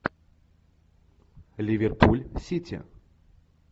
ливерпуль сити